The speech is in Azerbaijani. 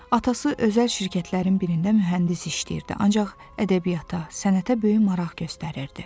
Atası özəl şirkətlərin birində mühəndis işləyirdi, ancaq ədəbiyyata, sənətə böyük maraq göstərirdi.